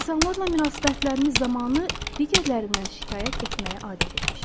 İnsanlarla münasibətimiz zamanı digərlərindən şikayət etməyə adət etmişik.